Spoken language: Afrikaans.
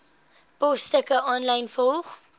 posstukke aanlyn volg